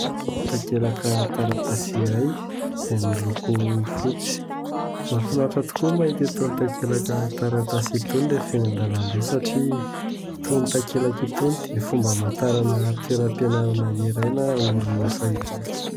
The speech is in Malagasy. Takelaka taratasy iray izay miloko fotsy. Mafinaritra tokoa ny mahita itony takelaka taratasy itony rehefa eny an-dalambe satria itony takelaka itony dia fomba hamantarana toeram-pianarana iray na orinasa iray.